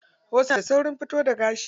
Wasu suna da saurin fito da gashi.